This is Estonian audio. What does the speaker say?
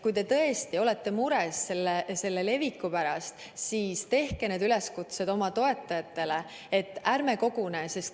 Kui te tõesti olete mures viiruse leviku pärast, siis tehke oma toetajatele üleskutse, et ärme koguneme.